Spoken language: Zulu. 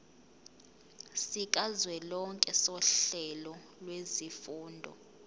sikazwelonke sohlelo lwezifundo